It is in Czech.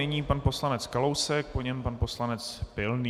Nyní pan poslanec Kalousek, po něm pan poslanec Pilný.